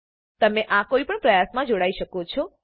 તમે આ કોઈપણ પ્રયાસમાં જોડાઈ શકો છો